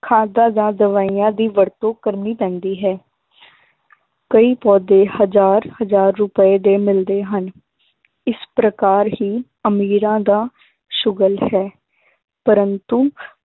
ਖਾਦਾਂ ਜਾਂ ਦਵਾਈਆਂ ਦੀ ਵਰਤੋਂ ਕਰਨੀ ਪੈਂਦੀ ਹੈ ਕਈ ਪੌਦੇ ਹਜ਼ਾਰ ਹਜ਼ਾਰ ਰੁਪਏ ਦੇ ਮਿਲਦੇ ਹਨ ਇਸ ਪ੍ਰਕਾਰ ਹੀ ਅਮੀਰਾਂ ਦਾ ਸੁਗਲ ਹੈ ਪਰੰਤੂ